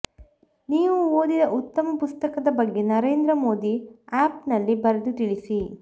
ನೀವು ಓದಿದ ಉತ್ತಮ ಪುಸ್ತಕದ ಬಗ್ಗೆ ನರೇಂದ್ರ ಮೋದಿ ಆ್ಯಪ್ನಲ್ಲಿ ಬರೆದು ತಿಳಿಸಿ